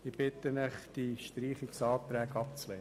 Ich bitte Sie, die Streichungsanträge abzulehnen.